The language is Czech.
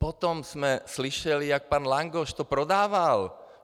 Potom jsme slyšeli, jak pan Langoš to prodával.